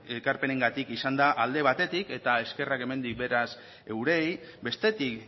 ekarpenengatik izan da alde batetik eta eskerrak hemendik beraz eurei bestetik